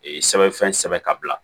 Ee sɛbɛnfɛn sɛbɛn ka bila